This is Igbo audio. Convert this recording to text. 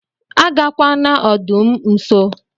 Agakwana ọdụm nso!!